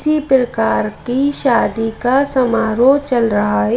किसी प्रकार की शादी का समारोह चल रहा है।